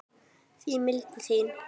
því mildin þín